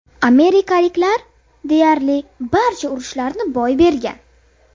Amerikaliklar deyarli barcha urushlarni boy bergan.